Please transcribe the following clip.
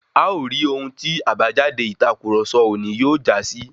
A o ri ohun tí àbájáde ìtàkurọ̀sọ òní yóò jásí.